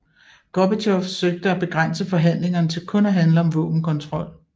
Gorbatjov søgte at begrænse forhandlingerne til kun at handle om våbenkontrol